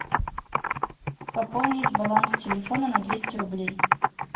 пополнить баланс телефона на двести рублей